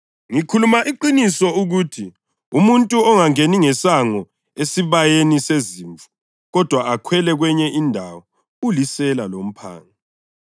“Ngikhuluma iqiniso ukuthi umuntu ongangeni ngesango esibayeni sezimvu kodwa akhwele kwenye indawo ulisela lomphangi.